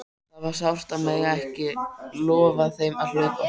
Það var sárt að mega ekki lofa þeim að hlaupa!